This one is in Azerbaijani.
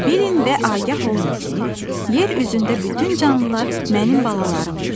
Bilin və agah olun ki, yer üzündə bütün canlılar mənim balalarımdır.